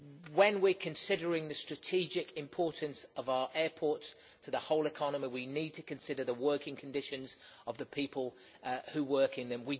When we are considering the strategic importance of our airports to the whole economy, we need to consider the working conditions of the people who work in them.